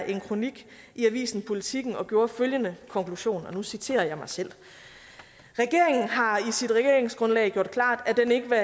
en kronik i avisen politiken og gjorde følgende konklusion og nu citerer jeg mig selv regeringen har i sit regeringsgrundlag gjort klart at den ikke vil